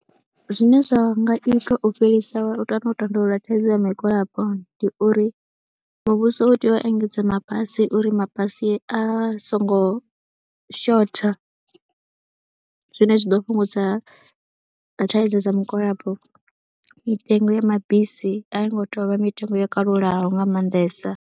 Zwine zwa nga itwa u fhelisa kana u tandulula thaidzo ya migwalabo ndi uri muvhuso u tea u engedza mabasi uri mabasi a songo shotha zwine zwa ḓo fhungudza thaidzo dza mugwalabo, mitengo ya mabisi a yo ngo tea u vha mitengo yo kalulaho nga maanḓesa.